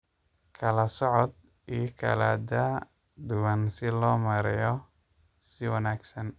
Kla soocd igaaga kala daa duwan si loo maareeyo si wanaagsan.